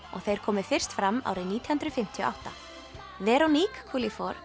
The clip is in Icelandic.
og þeir komu fyrst fram árið nítján hundruð fimmtíu og átta veronique